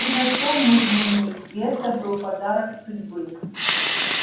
ты нашёл мой дневник и это был подарок судьбы